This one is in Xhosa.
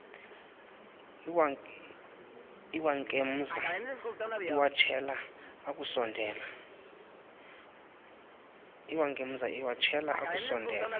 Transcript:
iwankemza iwatshela akusondela